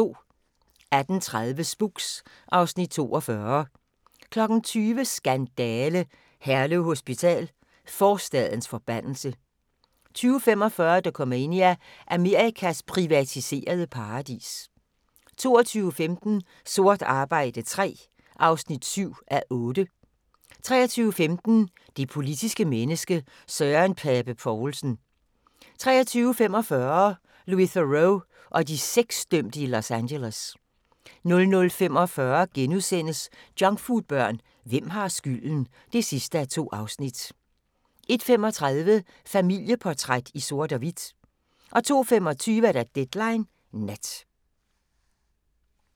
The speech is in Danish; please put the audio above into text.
18:30: Spooks (Afs. 42) 20:00: Skandale! - Herlev Hospital: forstadens forbandelse 20:45: Dokumania: Amerikas privatiserede paradis 22:15: Sort arbejde III (7:8) 23:15: Det politiske menneske – Søren Pape Poulsen 23:45: Louis Theroux og de sexdømte i Los Angeles 00:45: Junkfoodbørn – hvem har skylden? (2:2)* 01:35: Familieportræt i sort og hvidt 02:25: Deadline Nat